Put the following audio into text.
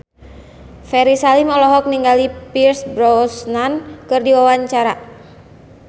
Ferry Salim olohok ningali Pierce Brosnan keur diwawancara